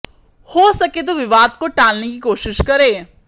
हो सके तो विवाद को टालने की कोशिश करे